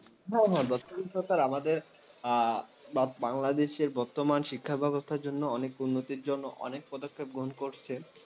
হ্যাঁ হ্যাঁ, বর্তমান সরকার আমাদের উম বাংলাদেশের বর্তমান শিক্ষাব্যবস্থার জন্য উন্নতির জন্য অনেক পদক্ষেপ গ্রহণ করছেন।